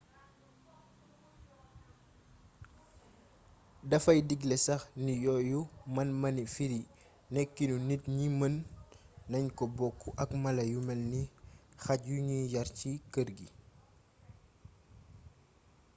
dafay digle sax ni yooyu man-mani firi nekkiinu nit ñi mën nañ ko book ak mala yu melni xaj yuñuy yàr ci kër yi